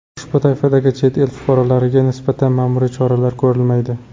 Ushbu toifadagi chet el fuqarolariga nisbatan ma’muriy choralar ko‘rilmaydi.